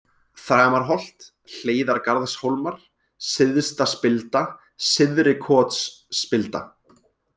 Þramarholt, Hleiðargarðshólmar, Syðstaspilda, Syðri-Kotsspilda